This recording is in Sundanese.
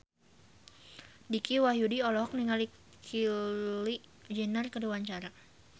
Dicky Wahyudi olohok ningali Kylie Jenner keur diwawancara